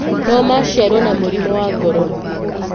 No maciarũo na mũrimũ wa ngoro.